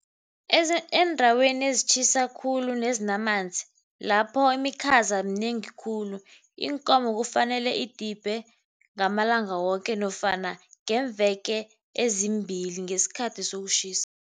Eendaweni ezitjhisa khulu nezinamanzi, lapho imikhaza minengi khulu. Iinkomo kufanele idibhe ngamalanga woke nofana ngemveke ezimbili ngesikhathi sokutjhisa.